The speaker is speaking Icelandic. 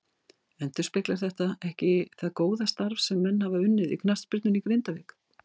Endurspeglar þetta ekki það góða starf sem menn hafa unnið í knattspyrnunni í Grindavík.